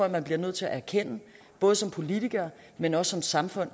at man bliver nødt til at erkende både som politiker men også som samfund